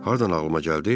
Hardan ağlıma gəldi?